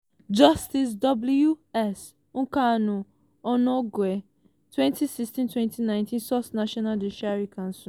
justice w. s. nkanu onnoghen - 2016- 2019 sourcenational judicial council